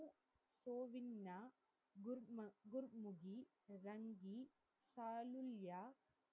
சாலுல்யா